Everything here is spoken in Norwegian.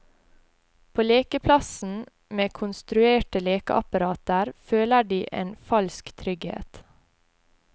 På lekeplassen med konstruerte lekeapparater føler de en falsk trygghet.